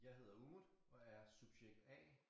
Jeg hedder Umut og er subjekt A